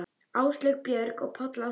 Áslaug, Björg og Páll Ásgeir.